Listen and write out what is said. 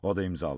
O da imzalayıb.